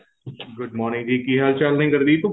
good morning ਜੀ ਕੀ ਹਾਲ ਚਾਲ ਨੇ ਗੁਰਦੀਪ